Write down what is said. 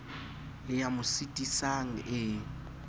le ya mo sitisang e